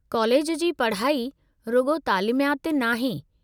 College जी पढ़ाई रुॻो तालीमयाति नाहे।